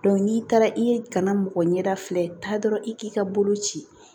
n'i taara i ye kana mɔgɔ ɲɛda filɛ taa dɔrɔn i k'i ka bolo ci